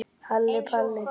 Halli Palli.